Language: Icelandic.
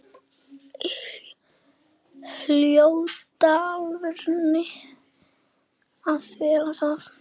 Hljóta alltaf að verða það.